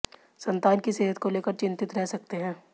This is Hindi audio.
संतान की सेहत को लेकर चितिंत रह सकते है